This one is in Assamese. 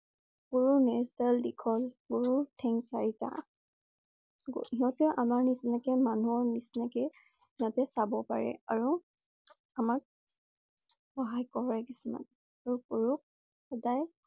গৰুৰ নেজ ডাল দীঘল, গৰুৰ ঠেং চাৰিটা । গ~সিহঁতে আমাৰ নিচিনাকৈ মানুহৰ নিচিনাকৈ যাতে চাব পাৰে। আৰু আমাক সহায় কৰে কিছুমান । আৰু গৰুক সদায়